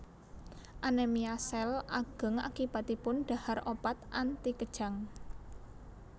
Anemia sel ageng akibatipun dhahar obat anti kejang